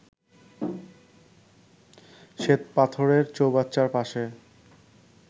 শ্বেতপাথরের চৌবাচ্চার পাশে